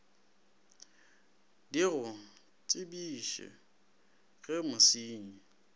di go tsebiše ge mosenyi